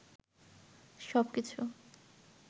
সব কিছু